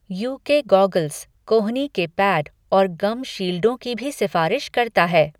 You K goggles, कोहनी के pad और गम शील्डों की भी सिफ़ारिश करता है।